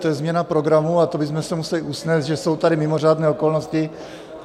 To je změna programu a to bychom se museli usnést, že jsou tady mimořádné okolnosti.